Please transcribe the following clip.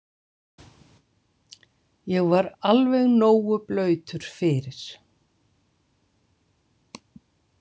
Ég var alveg nógu blautur fyrir